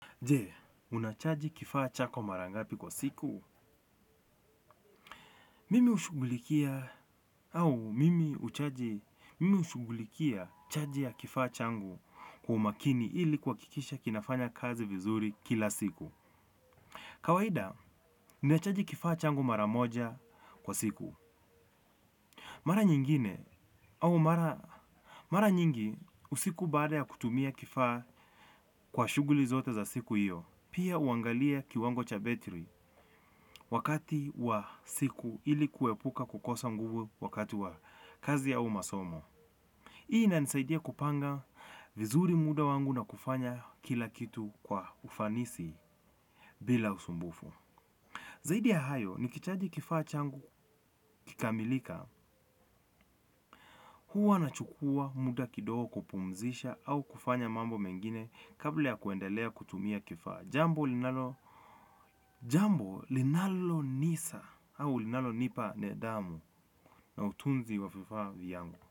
Je, unachaji kifaa chako marangapi kwa siku? Mimi hushugulikia hau mimi huchaji mimi hushugulikia chaji ya kifaa changu kwa imakini ili kuwakikisha kinafanya kazi vizuri kila siku. Kawaida, unachaji kifaa changu maramoja kwa siku. Mara nyingine au mara nyingi usiku baada ya kutumia kifaa kwa shuguli zote za siku iyo. Pia uangalia kiwango cha battery wakati wa siku ili kuepuka kukosa nguvu wakati wa kazi au masomo. Ii na nisaidia kupanga vizuri muda wangu na kufanya kila kitu kwa ufanisi bila usumbufu. Zaidi ya hayo ni kichaji kifaa changu kikamilika huwa nachukua muda kidogo kupumzisha au kufanya mambo mengine kabla ya kuendelea kutumia kifaa. Jambo linalo nisa au linalo nipa nidhamu na utunzi wa fifaa vyangu.